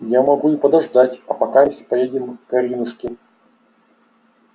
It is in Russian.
я могу и подождать а покамест поедем к аринушке